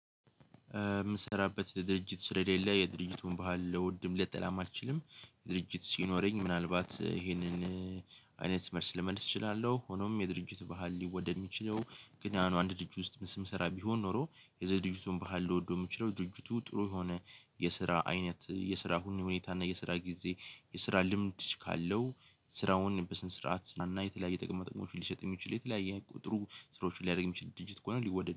የምሰራበት ድርጅት ስለሌለ የድርጅቱን ባህል ለውድም ለጠላም አልችልም። ድርጅት ሲኖረኝ ምናልባት ይሄንን አይነት መልስ ልመልስ እችላለሁ። ሆኖም የድርጅት ባህል ሊወደድ የሚችለው ግን ያንን አንድ ድርጅት ውስጥ ምን ስም ስራ ቢሆን ኖሮ። የዘዴጁቱን ባህል ልወደው የምችለው ድጁቱ ጥሩ የሆነ። የስራ አይነት የስራ ሁኔታ እና የስራ ጊዜ የስራ ልምድ ካለው። ስራውን በስነስርዓት ስሰራ የተለያየ ጥቅም መጠቀም ሊሸጥ የሚችል የተለያየ ቁጥሩ ስሮች ሊያደርግ የሚችል ድርጅት ከሆነ ሊወድድ።